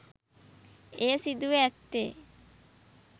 එය සිදුව ඇත්තේ